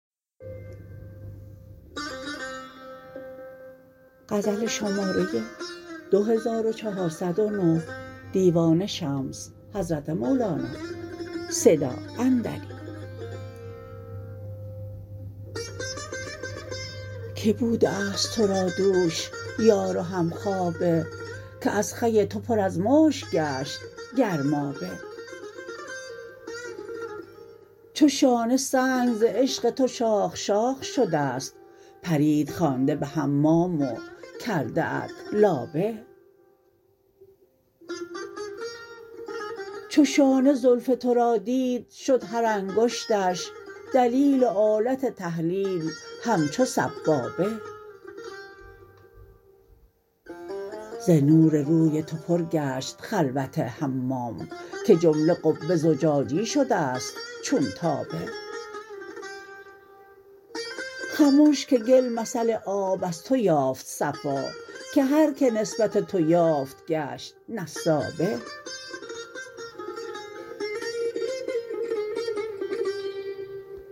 که بوده است تو را دوش یار و همخوابه که از خوی تو پر از مشک گشت گرمابه چو شانه سنگ ز عشق تو شاخ شاخ شده ست پریت خوانده به حمام و کرده ات لابه چو شانه زلف تو را دید شد هر انگشتش دلیل و آلت تهلیل همچو سبابه ز نور روی تو پر گشت خلوت حمام که جمله قبه زجاجی شده ست چون تابه خمش که گل مثل آب از تو یافت صفا که هر کی نسبت تو یافت گشت نسابه